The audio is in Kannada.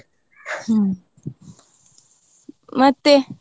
ಹ್ಮ್ ಮತ್ತೆ?